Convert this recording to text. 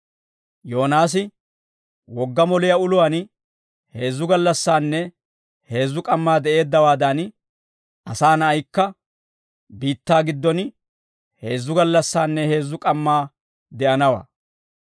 Yoonaasi wogga moliyaa uluwaan heezzu gallassaanne heezzu k'ammaa de'eeddawaadan, Asaa Na'aykka, biittaa giddon heezzu gallassaanne heezzu k'ammaa de'anawaa.